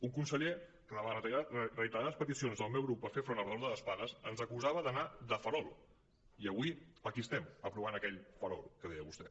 un conseller que davant les reiterades peticions del meu grup per fer front al retorn de les pagues ens acusava d’anar de farol i avui aquí estem aprovant aquell farol que deia vostè